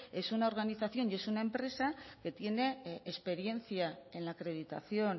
es una organización y es una empresa que tiene experiencia en la acreditación